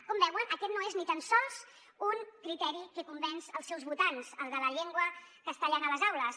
com veuen aquest no és ni tan sols un criteri que convenç els seus votants el de la llengua castellana a les aules